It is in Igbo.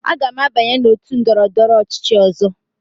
Aga m abanye n'otu ndọrọndọrọ ọchịchị ọzọ.